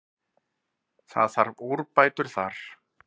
Það þarf úrbætur þar.